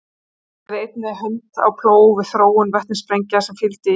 hann lagði einnig hönd á plóg við þróun vetnissprengja sem fylgdu í kjölfarið